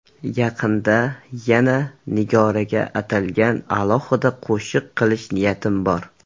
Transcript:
Yaqinda yana Nigoraga atalgan alohida qo‘shiq qilish niyatim bor.